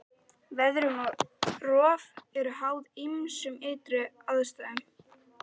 Veðrun og rof eru háð ýmsum ytri aðstæðum.